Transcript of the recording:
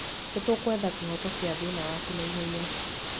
Nĩ tũgwetha kĩhoto kĩa thĩna waku na ihenya.